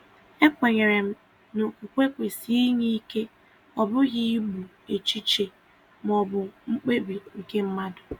E kwenyere m na okwukwe kwesị inye ike, ọ bụghị igbu echiche maọbụ mkpebi nke mmadụ.